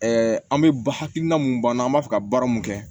an bɛ hakilina mun b'an na an b'a fɛ ka baara mun kɛ